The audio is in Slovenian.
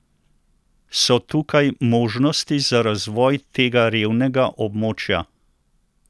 So tukaj možnosti za razvoj tega revnega območja?